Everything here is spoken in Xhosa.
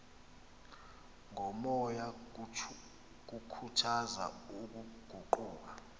komoya kukhuthaza ukuguqula